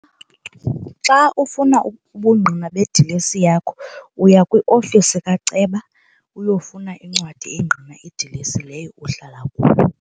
Xa ufuna ubungqina bedilesi yakho uya kwiofisi kaceba uyofuna incwadi engqina idilesi leyo uhlala kuyo.